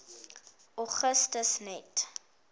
augustus net